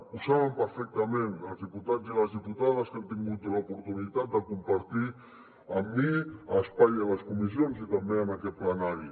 ho saben perfectament els diputats i les diputades que han tingut l’oportunitat de compartir amb mi espai a les comissions i també en aquest plenari